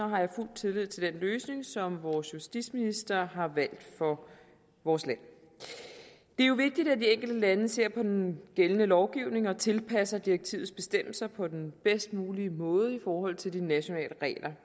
har jeg fuld tillid til den løsning som vores justitsminister har valgt for vores land det er jo vigtigt at de enkelte lande ser på den gældende lovgivning og tilpasser direktivets bestemmelser på den bedst mulige måde i forhold til de nationale